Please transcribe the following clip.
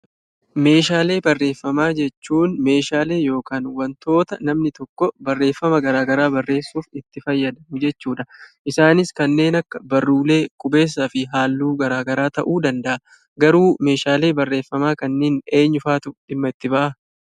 Meeshaalee barreeffamaa jechuun meeshaalee yokaan wantoota namni tokko barreeffama garaa garaa barreessuf itti fayyadamu jechuudha. Isaanis kanneen akka barruulee, qubeessaa fi halluu garaa garaa ta'uu danda'a. Garuu meeshaalee barreeffamaa kanneen eenyufaatu dhimma itti ba'aa?